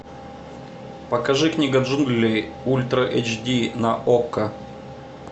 покажи книга джунглей ультра эйч ди на окко